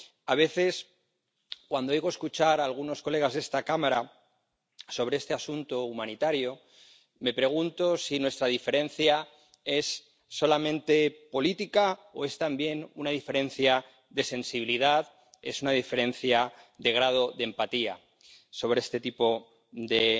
A veces, cuando oigo hablar a algunos colegas de esta cámara sobre este asunto humanitario, me pregunto si nuestra diferencia es solamente política o si es también una diferencia de sensibilidad, es una diferencia de grado de empatía hacia este tipo de